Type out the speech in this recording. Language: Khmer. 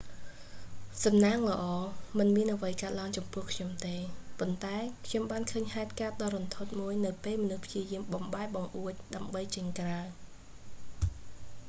សំណាងល្អ មិនមានអ្វីកើតឡើងចំពោះខ្ញុំទេ ប៉ុន្តែខ្ញុំបានឃើញហេតុការណ៍ដ៏រន្ធត់មួយនៅពេលមនុស្សព្យាយាមបំបែកបង្អួច ដើម្បីចេញក្រៅ